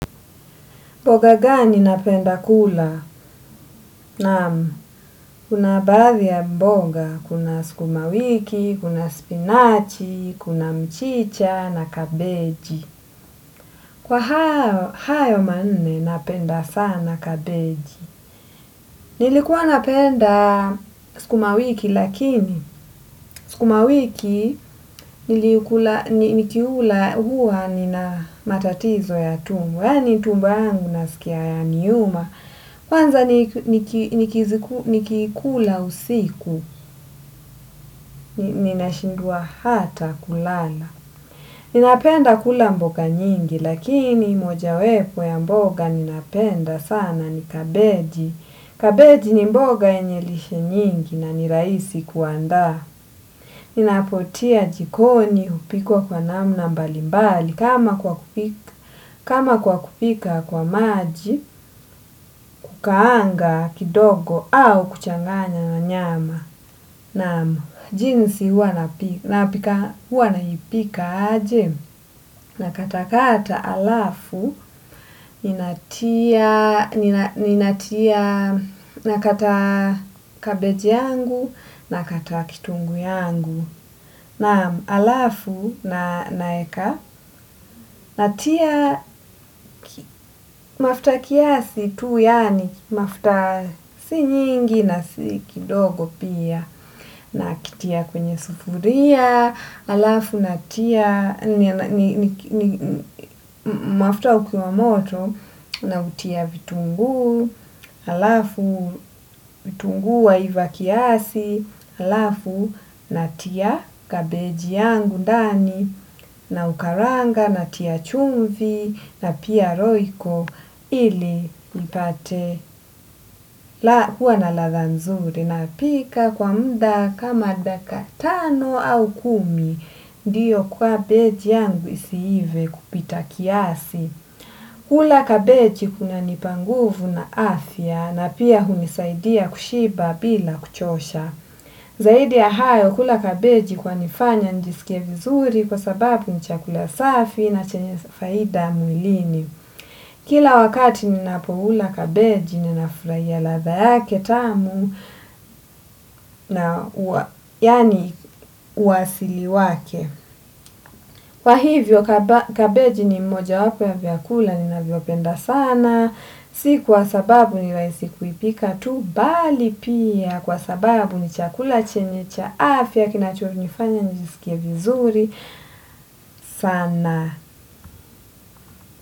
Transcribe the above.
Boga gani napenda kula? Naam, kuna baathi ya mbonga, kuna skumawiki, kuna spinachi, kuna mchicha na kabeji. Kwa hayo manne napenda sana kabeji. Nilikuwa napenda skumawiki lakini, skumawiki nikiula huha nina matatizo ya tumbo. Yaani tumbo yangu nasikia yaniuma. Kwanza nikiikula usiku, ninashindwa hata kulala. Ninapenda kula mboga nyingi, lakini moja wepo ya mboga ninapenda sana ni kabeji. Kabeji ni mboga yenye lishe nyingi na ni raisi kuandaa. Ninapotia jikoni, hupikwa kwa namna mbalimbali. Kama kwa kupika kwa maji, kukaanga kidogo au kuchanganya na nyama. Naam, jinsi huwa naipika aje. Nakata kata alafu, ninatia nakata kabej yangu nakata kitunguu yangu. Naam alafu na naeka natia mafta kiasi tu yaani mafta si nyingi na si kidogo pia nakitia kwenye sufuria, alafu natia mafta ukiwa moto nautia vitunguu, alafu vitunguu waiva kiasi, alafu natia kabeji yangu ndani. Naukaranga natia chumvi na pia roiko ili nipate hua na latha nzuri napika kwa mda kama dakika tano au kumi. Ndiyo kwabej yangu isiive kupita kiasi. Kula kabeji kunanipa nguvu na afya na pia hunisaidia kushiba bila kuchosha. Zaidi ya hayo kula kabeji kwanifanya nijisike vizuri kwa sababu ni chakula safi na chenye faida mwilini. Kila wakati ninapoula kabeji ninafraia latha yake tamu na yaani uasili wake. Kwa hivyo kabeji ni mmoja wapo ya vyakula ninavyopenda sana. Si kwa sababu ni raisi kuipika tu bali pia kwa sababu ni chakula chenye cha afya kinachonifanya nijisikie vizuri sana.